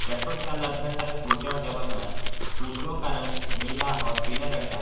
restaurant के अंदर ढेर सारे कुर्सियां और टेबल है कुर्सियों का रंग नीला और पीले रंग का --